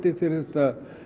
fyrir þetta